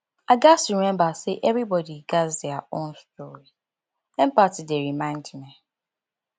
i gats remember say everybody gats their own story empathy dey remind me